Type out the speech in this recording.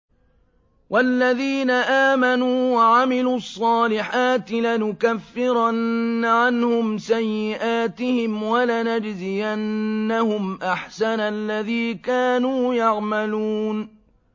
وَالَّذِينَ آمَنُوا وَعَمِلُوا الصَّالِحَاتِ لَنُكَفِّرَنَّ عَنْهُمْ سَيِّئَاتِهِمْ وَلَنَجْزِيَنَّهُمْ أَحْسَنَ الَّذِي كَانُوا يَعْمَلُونَ